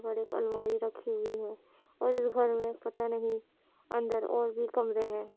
बड़ी एक अलमारी रखी हुई है | पता नही अंदर और भी कमरे है ।